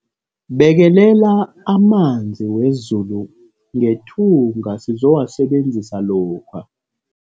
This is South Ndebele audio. Bekelela amanzi wezulu ngethunga sizowasebenzisa lokha.